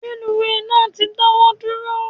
Reluwe náà ti dawọ duro